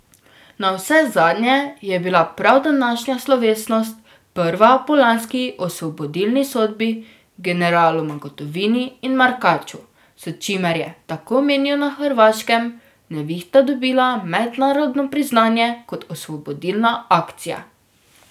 Navsezadnje je bila prav današnja slovesnost prva po lanski osvobodilni sodbi generaloma Gotovini in Markaću, s čimer je, tako menijo na Hrvaškem, Nevihta dobila mednarodno priznanje kot osvobodilna akcija.